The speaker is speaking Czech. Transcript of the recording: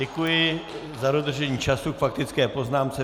Děkuji za dodržení času k faktické poznámce.